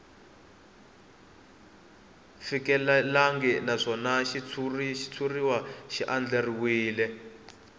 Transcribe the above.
fikelelangi naswona xitshuriwa xi andlariwile